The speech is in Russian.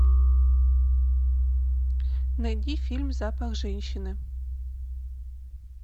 найди фильм запах женщины